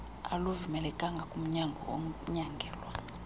aluvumelekanga kumnyangwa onyangelwa